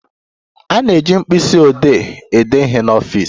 A na-eji mkpisiodee ede ihe n'ọfịs.